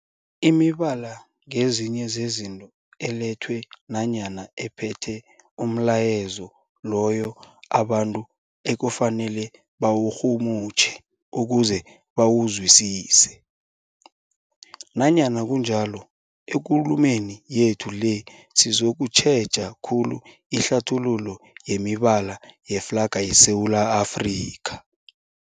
Imibala ngezinye zezinto ethelwe nanyana ephethe umlayezo loyo abantu ekufanele bawurhumutjhe ukuze bawuzwisise. Nanyana kunjalo, ekulumeni yethu le sizokutjheja khulu ihlathululo yemibala yeflarha yeSewula Afrika.